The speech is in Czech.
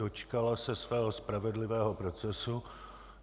Dočkala se svého spravedlivého procesu.